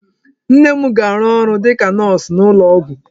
Nne m ga-arụ ọrụ dịka nọọsụ n'ụlọ ọgwụ.